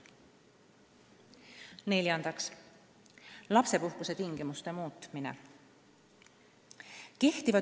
Neljandaks, lapsepuhkuse tingimuste muutmine.